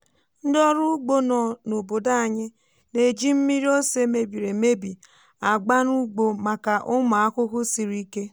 ndị ọrụ ugbo nọ n'obodo anyị na-eji mmiri ose mebiri emebi agba n'ugbo maka ụmụ ahụhụ siri ike.